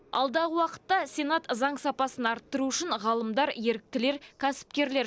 алдағы уақытта сенат заң сапасын арттыру үшін ғалымдар еріктілер кәсіпкерлер